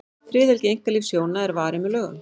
friðhelgi einkalífs hjóna er varin með lögum